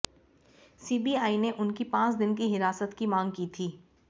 CBI ने उनकी पांच दिन की हिरासत की मांग की थी